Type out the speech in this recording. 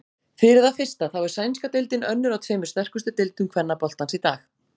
Fyrir það fyrsta þá er sænska deildin önnur af tveimur sterkustu deildum kvennaboltans í dag.